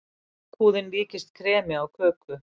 Lakkhúðin líkust kremi á köku.